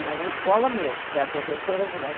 Na escola mesmo, que a professora de lá.